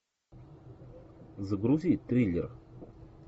загрузи триллер